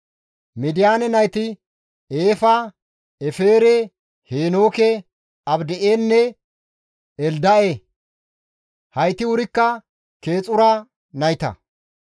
Midiyaane nayti Eefa, Efere, Heenooke, Abida7enne Elda7e. Hayti wurikka Keexura nayta.